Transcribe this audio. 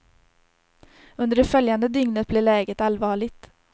Under det följande dygnet blev läget allvarligt.